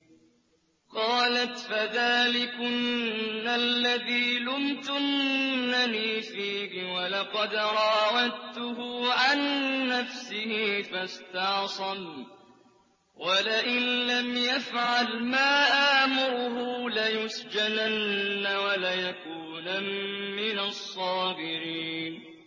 قَالَتْ فَذَٰلِكُنَّ الَّذِي لُمْتُنَّنِي فِيهِ ۖ وَلَقَدْ رَاوَدتُّهُ عَن نَّفْسِهِ فَاسْتَعْصَمَ ۖ وَلَئِن لَّمْ يَفْعَلْ مَا آمُرُهُ لَيُسْجَنَنَّ وَلَيَكُونًا مِّنَ الصَّاغِرِينَ